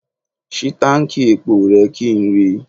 Ṣí táǹkì epo rẹ kí n rí i.